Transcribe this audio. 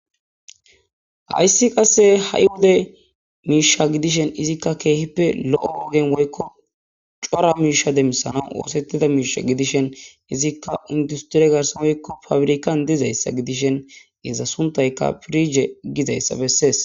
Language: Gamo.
Hayssi qasse ha'iwuda miisha gidishen izikka keehippe lo'o ogen woykko cora miisha demmisana oosettida miisha gidishen izikka industire garsan woykko fabrikan dizayssa gidishen geezza suntayka pirije gizayssa bessees